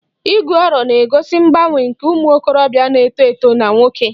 Igu aro 'na-egosi mgbanwe nke ụmụ okorobịa na-eto eto na nwoke